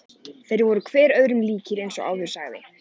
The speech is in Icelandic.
Þeir voru hver öðrum líkir eins og áður sagði.